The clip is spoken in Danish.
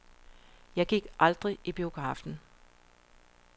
Jeg gik aldrig i biografen.